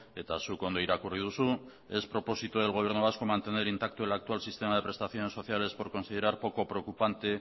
eta zuk ondo irakurri duzu es propósito del gobierno vasco mantener intacto el actual sistema de prestaciones sociales por considerar poco preocupante